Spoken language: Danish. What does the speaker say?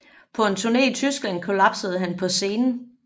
På en turne i Tyskland kollapsede han på scenen